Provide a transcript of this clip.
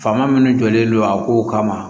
Faama min jɔlen don a kow kama